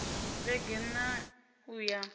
vhege n ṋ a uya